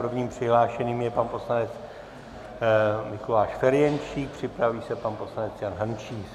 Prvním přihlášeným je pan poslanec Mikuláš Ferjenčík, připraví se pan poslanec Jan Hrnčíř.